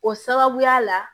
O sababuya la